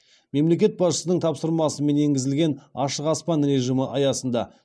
мемлекет басшысының тапсырмасымен енгізілген ашық аспан режимі аясында